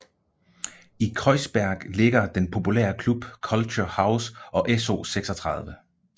I Kreuzberg ligger den populære Club Culture House og SO36